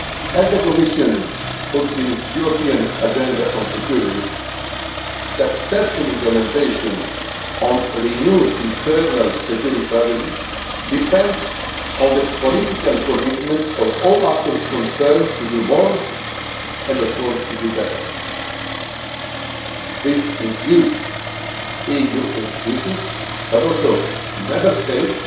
As the Commission put it in its European Agenda on Security successful implementation on renewed Internal Security Strategy depends on the political commitment of all actors concerned to do more, and of course to do better. This includes not only EU institutions, but also Member States